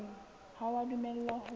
ha o a dumellwa ho